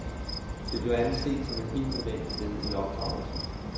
Det blev anset som et helt nødvendigt led i opdragelsen.